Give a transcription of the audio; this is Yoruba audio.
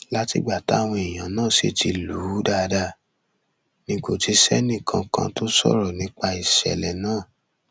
látìgbà táwọn èèyàn náà sì ti lù ú dáadáa ni kò ti sẹnìkankan tó sọrọ nípa ìṣẹlẹ náà